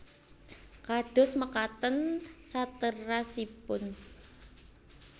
Kados mekaten saterasipun